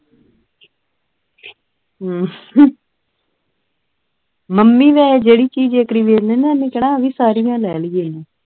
mummy ਦਾ ਜਿਹੜੀ ਚੀਜ਼ ਇਕ ਵਾਰੀ ਦੇਖ ਲਵੋ ਉਹਨੇ ਕਿਹਨਾ ਆਵੀਂ ਸਾਰੀਆਂ ਲੈ ਲਈਏ